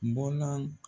Bɔlan